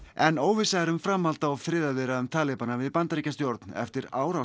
en óvissa er um framhald á friðarviðræðum talibana við Bandaríkjastjórn eftir árás